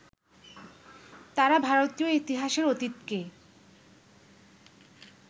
তাঁরা ভারতীয় ইতিহাসের অতীতকে